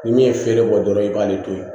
Ni min ye feere bɔ dɔrɔn i b'ale to ye